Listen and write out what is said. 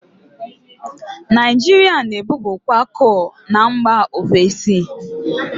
Naijiria na-ebupukwa kol na mgba ofesi.